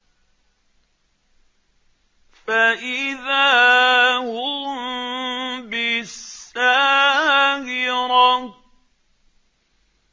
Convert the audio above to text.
فَإِذَا هُم بِالسَّاهِرَةِ